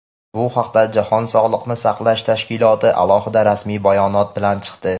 Bu haqda Jahon Sog‘liqni saqlash tashkiloti alohida rasmiy bayonot bilan chiqdi.